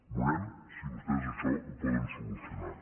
veurem si vostès això ho poden solucionar